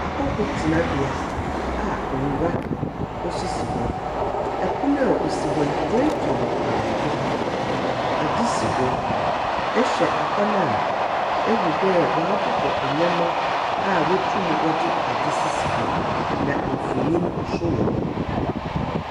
Ahɔho tenabea a ngua sisi hɔ. Pon a osi hɔ no woetwa no kanko. Adze si do. Ihwɛ hɔ no a, ihu dɛ wɔabobɔ ndzɛmba a wotum wɔdze adze sisi do, na mfonyin nso wɔ.